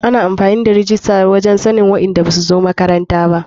Ana amfani da rijista wurin sannin waɗanda basu zo makaranta ba.